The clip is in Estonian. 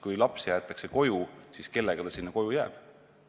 Kui laps jäetakse koju, siis kellega ta sinna koju jääb?